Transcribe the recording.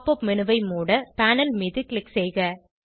pop up menu ஐ மூட panel மீது க்ளிக் செய்க